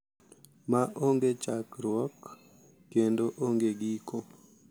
Ma onge chakruok kendo onge giko.